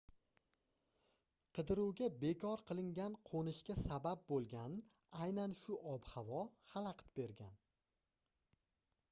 qidiruvga bekor qilingan qoʻnishga sabab boʻlgan aynan shu ob-havo xalaqit bergan